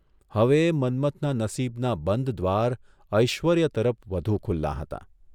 હવે મન્મથના નસીબનાં બંધ દ્વાર ઐશ્વર્ય તરફ વધુ ખુલ્લાં હતાં.